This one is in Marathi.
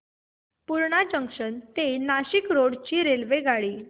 पूर्णा जंक्शन ते नाशिक रोड ची रेल्वेगाडी